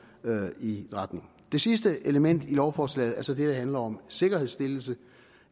i den retning det sidste element i lovforslaget er så det der handler om sikkerhedsstillelse